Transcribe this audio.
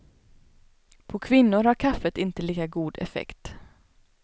På kvinnor har kaffet inte lika god effekt.